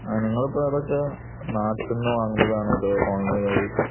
നിങ്ങൾ അതിപ്പോ നാട്ടിൽ നിന്ന് വാങ്ങുന്നതാണോ അതോ ഓൺലൈൻ വഴി